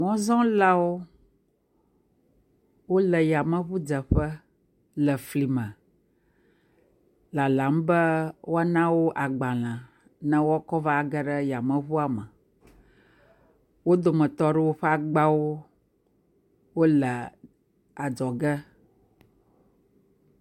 Mɔzɔlawo, wole ya meɔu dze ƒe le fli me, lalam be woa na wo gbalẽ be wokɔ va ge ɖe yame ŋua me. Wo dometɔ ɖewo ƒe agbawo le adzɔ ge.